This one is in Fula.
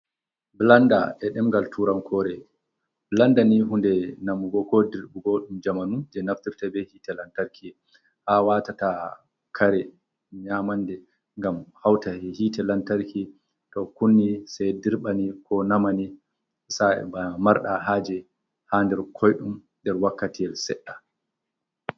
Blanda e dengal turan kore, blanda ni hunde namugo ko dirɓugo ɗum jamanu je nafturta be hitte lantarki. Ha watata kare nyamande ngam hauta hitte lantarki to kunni sai dirɓa ni, ko nama ni, sa’e bana marɗa haje ha nder koi ɗum nder wakkatiyl seɗɗa.